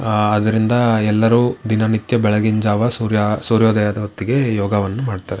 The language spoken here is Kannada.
ಆ ಅದರಿಂದ ಎಲ್ಲರು ದಿನನಿತ್ಯ ಬೆಳಗಿನ ಜಾವ ಸೂರ್ಯ ಸೂರ್ಯೋದಯದ ಹೊತ್ತಿಗೆ ಯೋಗವನ್ನ ಮಾಡ್ತಾರೆ.